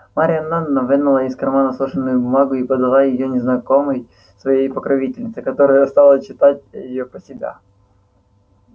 марья ивановна вынула из кармана сложенную бумагу и подала её незнакомой своей покровительнице которая стала читать её про себя